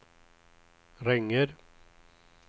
ringer